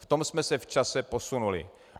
V tom jsme se v čase posunuli.